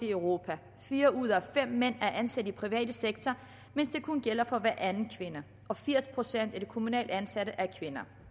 i europa fire ud af fem mænd er ansat i den private sektor mens det kun gælder for hver anden kvinde og firs procent af de kommunalt ansatte er kvinder